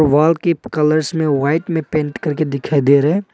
Wall के colours में white में पेंट करके दिखाई दे रहे हैं।